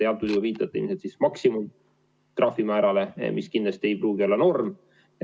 Te viitasite maksimumtrahvimäärale, mis kindlasti ei pruugi olla norm.